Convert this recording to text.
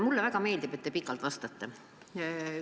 Mulle väga meeldib, et te vastate pikalt.